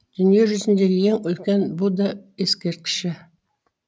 дүниежүзіндегі ең үлкен будда ескерткіші